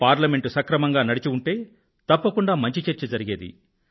parliament సక్రమంగా నడిచి ఉంటే తప్పకుండా మంచి చర్చ జరిగేది